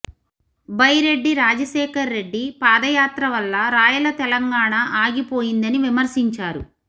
బైరెడ్డి రాజశేఖర్ రెడ్డి పాదయాత్ర వల్ల రాయల తెలంగాణ ఆగిపోయిందని విమర్శించారు